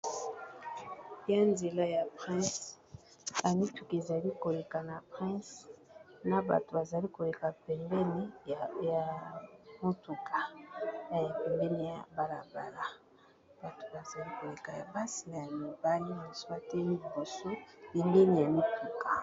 Eza nzela ya prince, ba mituka ezali ko leka na prince na bato ba zali ko leka pembeni ya motuka na ya pembeni ya bala bala, bato bazali koleka ya basi na ya mibali , misusu na liboso pembeni ya mituka .